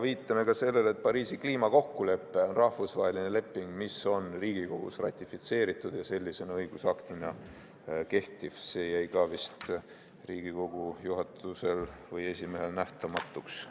Viitame sellele, et Pariisi kliimakokkulepe on rahvusvaheline leping, mis on Riigikogus ratifitseeritud ja sellisena, õigusaktina kehtiv – see jäi ka vist Riigikogu juhatusel või esimehel märkamata.